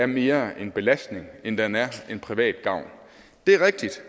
mere er en belastning end den er til privat gavn det er rigtigt